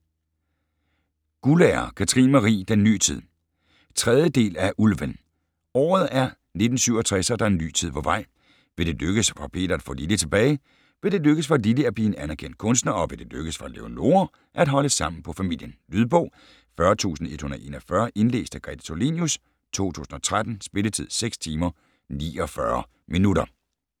Guldager, Katrine Marie: Den ny tid 3. del af Ulven. Året er 1967 og der er en ny tid på vej. Vil det lykkes for Peter at få Lilly tilbage, vil det lykkes for Lilly at blive en anerkendt kunstner og vil det lykkes for Leonora at holde sammen på familien? Lydbog 40141 Indlæst af Grete Tulinius, 2013. Spilletid: 6 timer, 49 minutter.